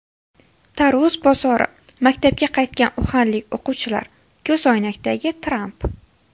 Tarvuz bozori, maktabga qaytgan uxanlik o‘quvchilar, ko‘zoynakdagi Tramp.